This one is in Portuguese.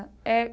É.